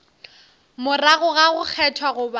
morago ga go kgethwa goba